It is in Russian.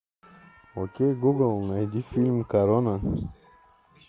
окей гугл найди фильм корона